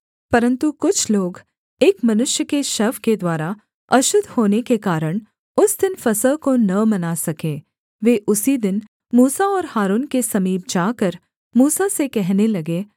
परन्तु कुछ लोग एक मनुष्य के शव के द्वारा अशुद्ध होने के कारण उस दिन फसह को न मना सके वे उसी दिन मूसा और हारून के समीप जाकर मूसा से कहने लगे